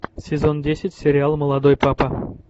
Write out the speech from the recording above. сезон десять сериал молодой папа